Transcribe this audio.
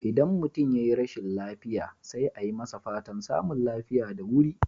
Idan mutum yayi rashin lafiya, sai a yi masa fatan samun lafiya da wuri.